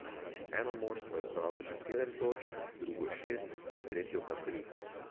Eno moštvo je zbralo že sedem točk, drugo šest, tretjo pa tri.